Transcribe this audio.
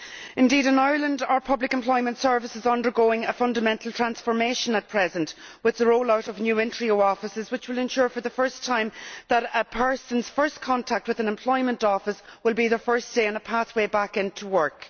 Indeed, in Ireland our public employment service is undergoing a fundamental transformation at present with the roll out of new Intreo offices, which will ensure for the first time that a person's first contact with an employment office will be their first day on a pathway back into work.